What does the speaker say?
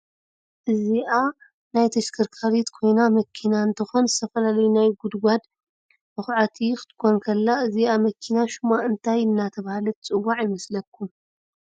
እዞአ ናይ ተሽኻሪት ኮይና መኪና እንቶኮን ዝተፈላለዩ ናይ ጉድጋዳድ መኽዐት ክቶኾን ኸላ እዚአ መኺና ሸማ እንታይ እተባህላት ትፅዋዕ ይመስለኹም ?